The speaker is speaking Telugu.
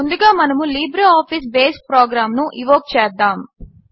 ముందుగా మనము లిబ్రేఆఫీస్ బేస్ ప్రోగ్రాంను ఇన్వోక్ చేద్దాము